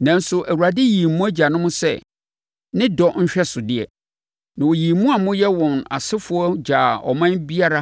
Nanso, Awurade yii mo agyanom sɛ ne dɔ nhwɛsodeɛ. Na ɔyii mo a moyɛ wɔn asefoɔ gyaa ɔman biara